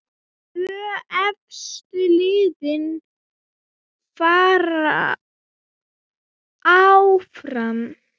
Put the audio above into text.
Tvö efstu liðin fara áfram.